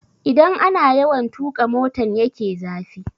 Idan ana yawan tuƙa motan ya ke zafi